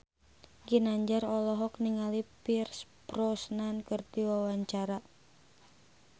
Ginanjar olohok ningali Pierce Brosnan keur diwawancara